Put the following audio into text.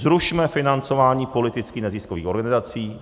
Zrušme financování politických neziskových organizací.